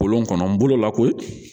Kolon kɔnɔ n bolo la koyi